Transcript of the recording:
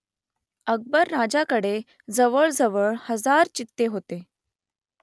अकबर राजाकडे जवळजवळ हजार चित्ते होते